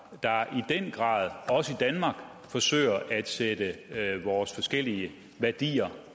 der i den grad også i danmark forsøger at sætte vores forskellige værdier